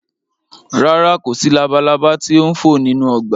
Rárá, kò sí labalaba tí ó ń fò nínú ọgbà